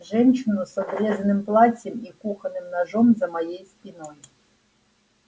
женщину с обрезанным платьем и кухонным ножом за моей спиной